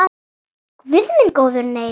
Guð minn góður nei.